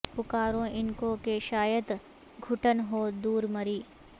پکاروں ان کو کہ شاید گٹھن ہو دور مری